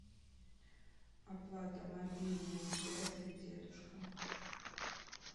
оплата мобильной связи дедушка